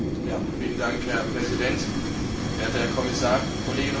Herr Präsident, werter Herr Kommissar, Kolleginnen und Kollegen!